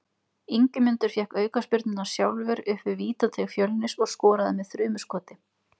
Ingimundur fékk aukaspyrnuna sjálfur upp við vítateig Fjölnis og skoraði með þrumuskoti.